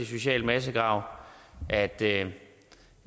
social massegrav at det